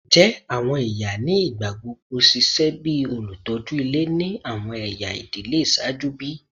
Njẹ awọn iya ni igbagbogbo ṣiṣẹ bi olutọju ile ni awọn ẹya idile iṣaaju bi?